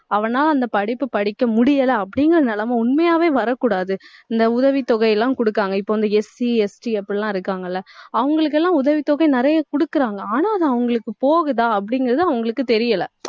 அவனால அந்த படிப்பு படிக்க முடியல அப்படிங்கிற நிலைமை உண்மையாவே வரக் கூடாது. இந்த உதவித்தொகை எல்லாம் கொடுக்குறாங்க. இப்ப வந்து SCST அப்படிலாம் இருக்காங்கல்ல அவங்களுக்கெல்லாம், உதவித் தொகை நிறைய கொடுக்குறாங்க. ஆனா அது அவங்களுக்கு போகுதா அப்படிங்கிறது அவங்களுக்கு தெரியல